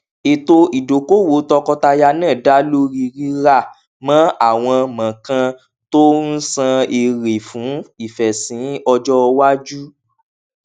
ètò ìdókòòwò tọkọtaya náà dá lórí rírà mọ àwọn mọọkàn tó ń san èrè fún ìfèsìn ọjọ iwájú